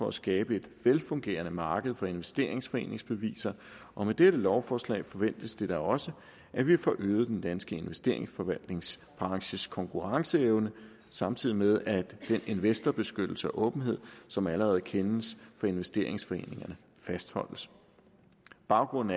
at skabe et velfungerende marked for investeringsforeningsbeviser og med dette lovforslag forventes det da også at vi får øget den danske investeringforvaltningsbranches konkurrenceevne samtidig med at den investorbeskyttelse og åbenhed som allerede kendes fra investeringsforeningerne fastholdes baggrunden